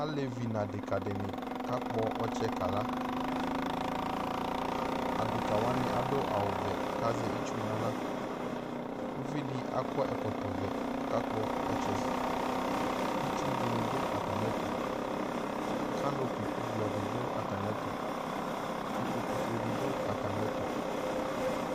Alevi n'adekǝdɩnɩ k'akpɔ ɔtsɛ kala Adekǝwanɩ adʋ awʋvɛ kazɛ itsu n'aɣla ;uvidɩ akɔ ɛkɔtɔvɛ k'ɔkakpɔ ɔtsɛ Itsudɩnɩ dʋ atamɩɛtʋ, kaŋnopi ʋblɔdɩ dʋ atamɩɛtʋ , ikpokufuedɩ dʋ atamɩɛtʋ